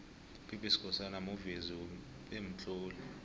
up b skhosana muvezi bemtloli